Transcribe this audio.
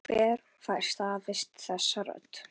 Hver fær staðist þessa rödd?